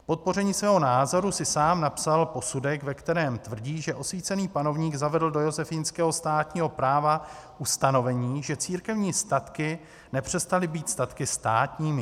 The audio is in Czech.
K podpoření svého názoru si sám napsal posudek, ve kterém tvrdí, že osvícený panovník zavedl do josefínského státního práva ustanovení, že církevní statky nepřestaly být statky státními.